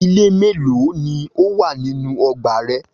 Ilé mélòó ni ó wà nínú ọgbà rẹ?